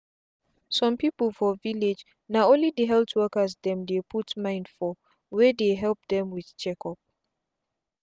some people for village na only the health workers dem dey put mind for wey dey help dem with check up